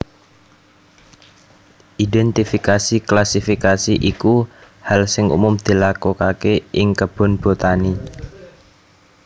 Identifikasi klasifikasi iku hal sing umum dilakuake ing kebun botani